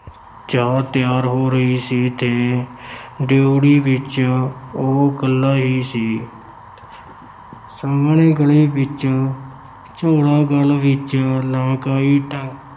ਚਾਹ ਤਿਆਰ ਹੋ ਰਹੀ ਸੀ ਤੇ ਡਿਉਢੀ ਵਿੱਚ ਉਹ ਇਕੱਲਾ ਹੀ ਸੀ ਸਾਮ੍ਹਣੇ ਗਲੀ ਵਿੱਚ ਝੋਲਾ ਗਲ ਵਿੱਚ ਲਮਕਾਈ ਡਾ~